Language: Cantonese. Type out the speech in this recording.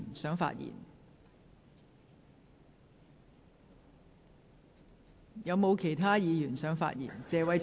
是否有其他議員想發言？